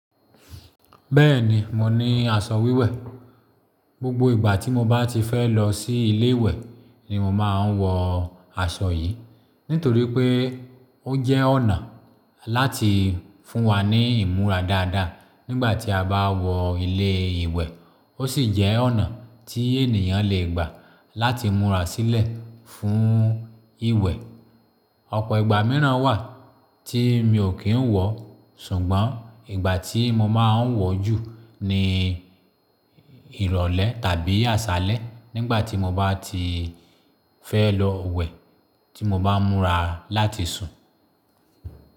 Bẹ́ẹ̀ni, mo ní aṣọ wíwẹ̀. Gbogbo ìgbà tí mo bá ti fẹ́ lọ sí ilé ìwẹ̀ ni mo máa ń wọ aṣọ yìí. Nítorí pé ó jẹ́ ọ̀nà láti fún wa ní ìmúra dáadáa nígbà tí a bá wọ ilé ìwẹ̀. Ó sì jẹ́ ọ̀nà tí ènìyàn lè gbà láti múra sílẹ̀ fún ìwẹ̀. Ọ̀pọ̀ ìgbà mìíràn wà tí mi ò kí ń wọ, ṣùgbọ́n ìgbà tí mo máa ń wọ̀ jù ni ìrọ̀lẹ́ tàbí àṣálẹ́ nígbà tí mo bá ti fẹ́ lọ wẹ̀ tí mo bá ń múra láti sùn.